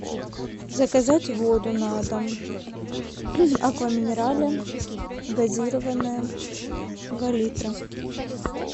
заказать воду на дом аква минерале газированная два литра